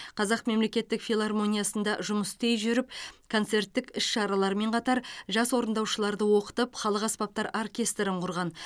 қазақ мемлекеттік филармониясында жұмыс істей жүріп концерттік іс шаралармен қатар жас орындаушыларды оқытып халық аспаптар оркестрін құрған